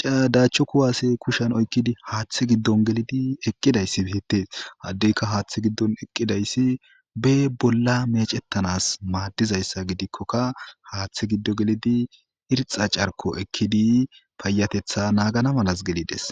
caadaachcho kuwaase kushan oykkidi haaththe giddon gelidi eqqidayssi beette haddeyka haaththe giddon eqqidayssi be bolla mecettanas maaddizayssa gidikkoka haaththe giddo gelidi irxa carko ekkidi payatetha naagana malas gelides.